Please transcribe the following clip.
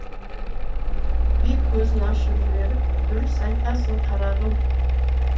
би көзін ашып жіберіп дұрыс айтасың қарағым